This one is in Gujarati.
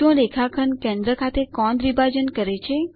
શું રેખાખંડ કેન્દ્ર ખાતે કોણ દ્વિભાજન કરે છે